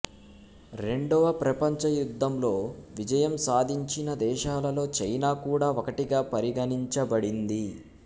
రెండవ ప్రపంచయుద్ధంలో విజయం సాధించిన దేశాలలో చైనా కూడా ఒకటిగా పరిగణించబడింది